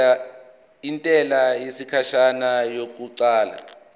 intela yesikhashana yokuqala